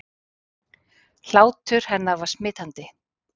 Hlátur hennar var smitandi.